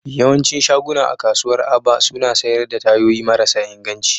Yawancin shaguna a kasuwar Aba suna sayar da tayoyi marasa inganci